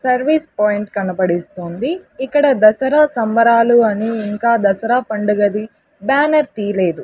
Service point కనబడిస్తోంది ఇక్కడ దసరా సంబరాలు అని ఇంకా దసరా పండుగది బ్యానర్ తీలేదు.